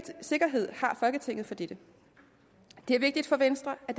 sikkerhed har folketinget for dette det er vigtigt for venstre at